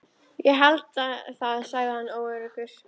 Ég held það sagði hann óöruggur.